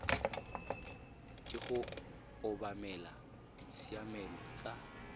ke go obamela ditshiamelo tsa